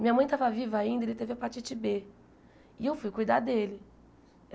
Minha mãe estava viva ainda e ele teve hepatite Bê. E eu fui cuidar dele.